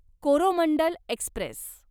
Coromandel Express